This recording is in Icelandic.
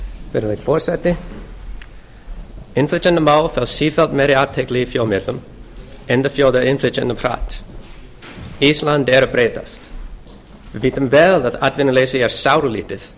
virðulegi forseti innflytjendamál fá sífellt meiri athygli í fjölmiðlum enda fjölgar innflytjendum hratt ísland er að breytast við vitum vel að atvinnuleysi er sáralítið